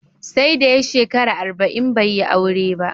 Sai da ya shekara arba'in bai yi aure ba